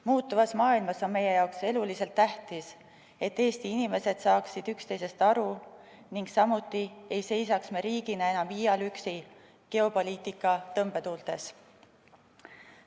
Muutuvas maailmas on meie jaoks eluliselt tähtis, et Eesti inimesed saaksid üksteisest aru ning me ei seisaks riigina enam iial üksi geopoliitika tõmbetuultes.